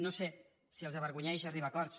no sé si els avergonyeix arribar a acords